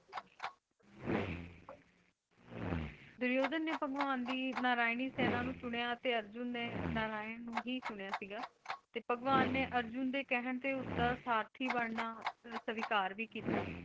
ਦੁਰਯੋਧਨ ਨੇ ਭਗਵਾਨ ਦੀ ਨਾਰਾਇਣੀ ਸੇਨਾ ਨੂੰ ਸੁਣਿਆ ਅਤੇ ਅਰਜੁਨ ਨੇ ਨਾਰਾਇਣ ਨੂੰ ਹੀ ਸੁਣਿਆ ਸਿਗਾ ਤੇ ਭਗਵਾਨ ਨੇ ਅਰਜੁਨ ਦੇ ਕਹਿਣ ਤੇ ਉਸਦਾ ਸਾਰਥੀ ਬਣਨਾ ਸਵੀਕਾਰ ਵੀ ਕੀਤਾ।